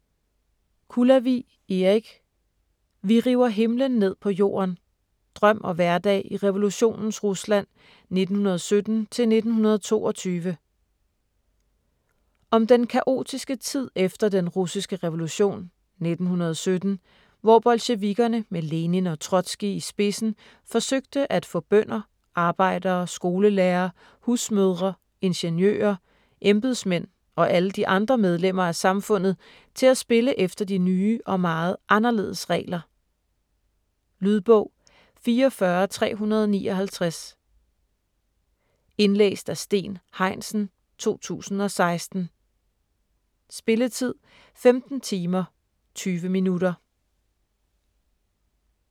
Kulavig, Erik: Vi river himlen ned på jorden: drøm og hverdag i revolutionens Rusland 1917-1922 Om den kaotiske tid efter Den russiske revolution (1917) hvor bolsjevikkerne med Lenin og Trotskij i spidsen forsøgte at få bønder, arbejdere, skolelærere, husmødre, ingeniører, embedsmænd og alle de andre medlemmer af samfundet til at spille efter de nye og meget anderledes regler. Lydbog 44359 Indlæst af Steen Heinsen, 2016. Spilletid: 15 timer, 20 minutter.